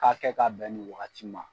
K'a kɛ k'a bɛn nin wagati ma.